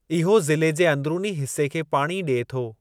इहो ज़िले जे अंदरूनी हिसे खे पाणी ॾिए थो।